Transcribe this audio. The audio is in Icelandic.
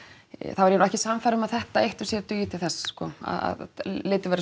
er ég nú ekki sannfærð um að þetta eitt og sér dugi til þess sko að litið verði